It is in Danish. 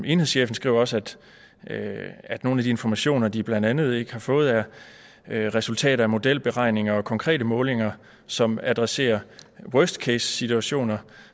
enhedschefen skriver også at nogle af de informationer de blandt andet ikke har fået er er resultater af modelberegninger og konkrete målinger som adresserer worst case situationer